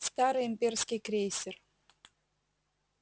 старый имперский крейсер